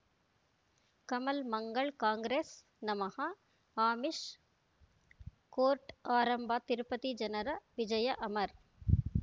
ಕಮಲ್ ಮಂಗಳ್ ಕಾಂಗ್ರೆಸ್ ನಮಃ ಅಮಿಷ್ ಕೋರ್ಟ್ ಆರಂಭ ತಿರುಪತಿ ಜನರ ವಿಜಯ ಅಮರ್